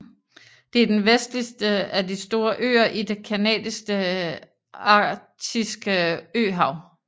Det er den vestligste af de store øer i det canadiske arktiske øhav